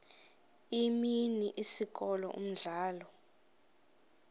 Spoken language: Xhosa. imini isikolo umdlalo